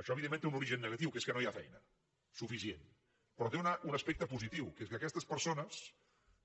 això evidentment té un origen negatiu que és que no hi ha feina suficient però té un aspecte positiu que és que aquestes persones